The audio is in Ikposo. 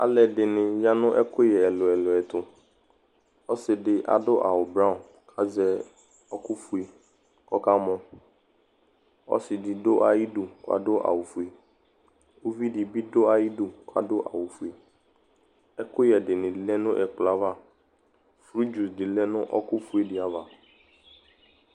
Alʋ ɛdɩnɩ ya nʋ ɛkʋyɛ ɛlʋ-ɛlʋ ɛtʋ Ɔsɩ dɩ adʋ awʋ blɔ kʋ azɛ ɔkʋ fue kʋ ɔkamɔ, ɔsɩdɩ dʋ ayʋ idu kʋ adʋ awʋ fue, uvi dɩ bɩ dʋ ayʋ idu kʋ adʋ awʋ fue, ɛkʋyɛ dɩnɩ bɩ lɛ nʋ ɛkplɔ yɛ ava, frɩgio dɩ lɛ nʋ ɛkʋ fue dɩ ava